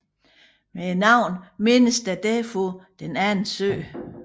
Med navnet menes der derfor Den anden sø